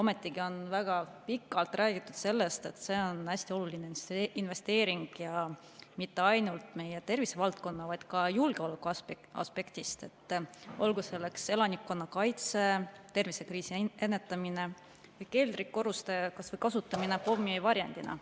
Ometigi on väga pikalt räägitud sellest, et see on hästi oluline investeering, ja mitte ainult meie tervisevaldkonna, vaid ka julgeoleku aspektist, olgu selleks elanikkonnakaitse, tervisekriisi ennetamine, keldrikorruste kasutamine pommivarjendina.